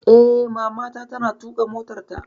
Eh, Mamana ta na tuƙa motarta